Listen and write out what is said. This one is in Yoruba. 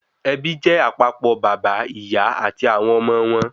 Ẹbí jé àpapọ̀ bàbá, ìyá àti àwọn ọmọ wọn